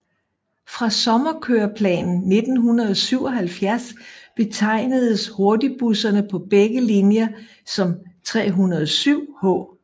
Fra sommerkøreplanen 1977 betegnedes hurtigbusserne på begge linjer som 307H